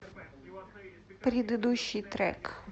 предыдущий трек